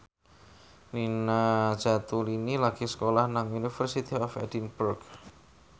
Nina Zatulini lagi sekolah nang University of Edinburgh